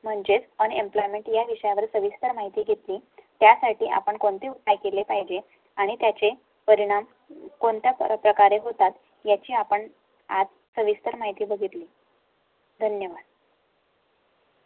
म्हणजे unemployment या विषयावर सविस्तर माहिती घेत त्यासाठी आपण कोणते उपाय केले पाहिजे आणि त्याचे परिणाम कोणत्या प्रकारे होतात याची आपणआज सविस्तर माहिती बघितली. धन्यवाद.